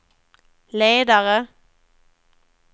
ledare